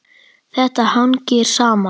Þetta hangir saman.